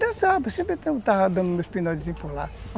Dançava, sempre estava dando meus pinotezinhos por lá.